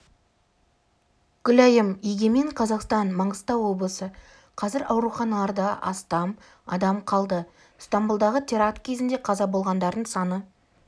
гүлайым егемен қазақстан маңғыстау облысы қазір ауруханаларда астам адам қалды стамбұлдағы теракт кезінде қаза болғандардың саны